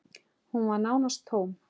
Hún var nánast tóm.